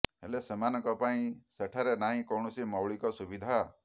ହେଲେ ସେମାନଙ୍କ ପାଇଁ ସେଠାରେ ନାହିଁ କୌଣସି ମୌଳିକ ସୁବିଧା